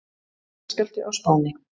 Jarðskjálfti á Spáni